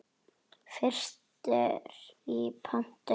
Fyrstur í pontu.